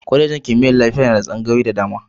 Kwalejin kimiyyar lafiya na da tsangayoyi da dama.